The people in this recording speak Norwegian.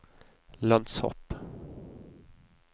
lønnshopp